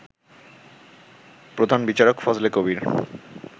প্রধান বিচারক ফজলে কবীর